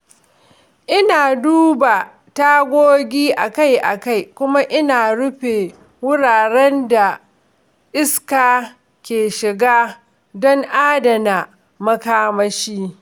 Ina duba tagogi akai-akai kuma ina rufe wuraren da iska ke shiga don adana makamashi.